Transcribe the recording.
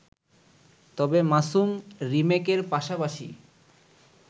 তবে মাসুম রিমেকের পাশাপাশি